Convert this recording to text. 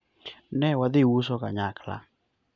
ne wadhi uso kanyakla